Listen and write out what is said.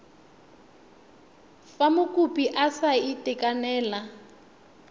fa mokopi a sa itekanela